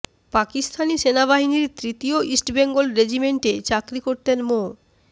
পাকিস্তানি সেনাবাহিনীর তৃতীয় ইস্ট বেঙ্গল রেজিমেন্টে চাকরি করতেন মো